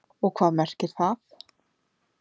Og hvað merkir það?